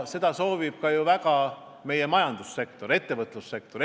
Seda soovib väga ka meie majandussektor, ettevõtlussektor.